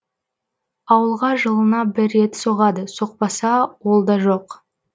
ауылға жылына бір рет соғады соқпаса ол да жоқ